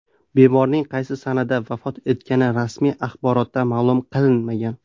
Bemorning qaysi sanada vafot etgani rasmiy axborotda ma’lum qilinmagan.